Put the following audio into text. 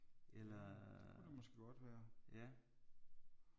Det kunne det måske godt være